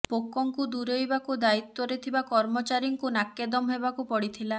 ପୋକଙ୍କୁ ଦୂରେଇବାକୁ ଦାୟିତ୍ବରେ ଥିବା କର୍ମଚାରୀଙ୍କୁ ନାକେଦମ୍ ହେବାକୁ ପଡ଼ିଥିଲା